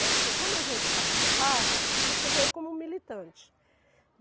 Né, porque como a gente participava, então você veio como militante.